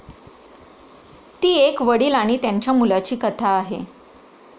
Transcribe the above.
ती एक वडील आणि त्यांच्या मुलाची कथा आहे.